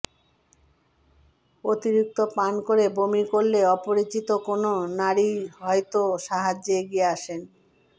অতিরিক্ত পান করে বমি করলে অপরিচিত কোন নারীই হয়েতো সাহায্যে এগিয়ে আসেন